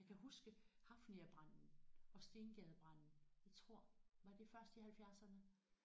Jeg kan huske Hafniabranden og Stengadebranden jeg tror var det først i halvfjerdserne